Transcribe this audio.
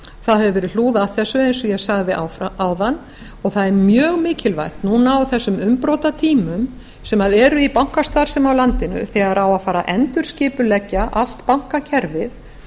það hefur verið hlúð að þessu eins og ég sagði áðan og það er mjög mikilvægt núna á þessum umbrotatímum sem eru í bankastarfsemi á landinu þegar á að fara að endurskipuleggja allt bankakerfið